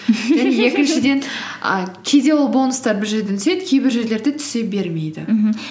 і кейде ол бонустар бір жерден түседі кейбір жерлерде түсе бермейді мхм